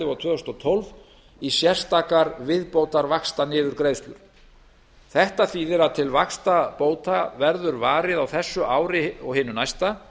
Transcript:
og tvö þúsund og tólf í sérstakar viðbótarvaxtaniðurgreiðslur þetta þýðir að til vaxtabóta verður varið á þessu ári og hinu næsta